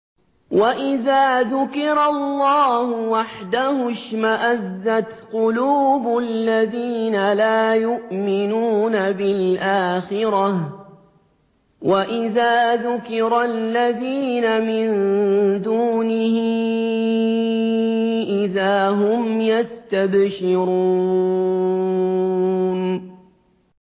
وَإِذَا ذُكِرَ اللَّهُ وَحْدَهُ اشْمَأَزَّتْ قُلُوبُ الَّذِينَ لَا يُؤْمِنُونَ بِالْآخِرَةِ ۖ وَإِذَا ذُكِرَ الَّذِينَ مِن دُونِهِ إِذَا هُمْ يَسْتَبْشِرُونَ